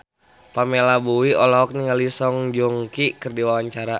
Pamela Bowie olohok ningali Song Joong Ki keur diwawancara